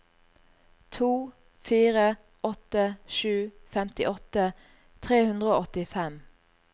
to fire åtte sju femtiåtte tre hundre og åttifem